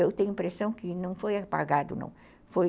Eu tenho a impressão que não foi apagado, não.